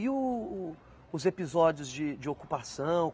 E o o os episódios de de ocupação?